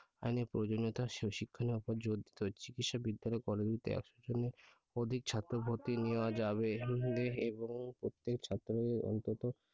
আইনের প্রয়োজনীয়তা শিখনের উপর জোর দিতে হবে চিকিৎসা বিদ্যালয় college গুলিতে আসার জন্য অধিক ছাত্র ভর্তি নেওয়া যাবে এবং প্রত্যেক ছাত্রকে অন্তত